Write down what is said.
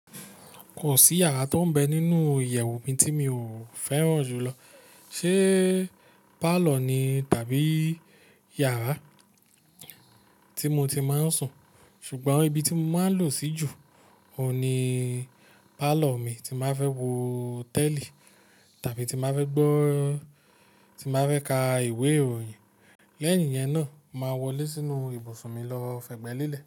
Kò sí yàrá tó ń bẹ nínú ìyẹ̀wù mi tí mi ò fẹ́ràn jùlọ. Ṣé pálọ̀ ni tàbí yàrá tí mo ti máa ń sùn, ṣùgbọ́n ibi tí mo máa ń lò sí jù óun ni pálọ̀ mi tí mbáa fẹ́ wo tẹ́lì tàbí tí máa fẹ́ gbọ́-- tí mbáa fẹ́ ka ìwé ìròyìn. Lẹ́yìn yẹn náà, màá wọlé sínú ibùsùn mi lọ fẹgbẹ́ lélẹ̀